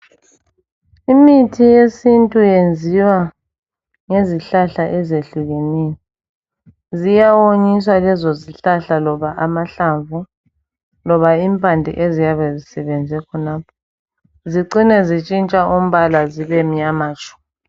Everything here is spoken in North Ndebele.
Imithi yesintu yenziwa ngezihlahla ezehlukeneyo. Ziyawonyiswa lezo zihlahla loba amahlamvu loba impande eziyabe zisebenze khonapho zicine zitshintsha umbala zibe mnyama tshu.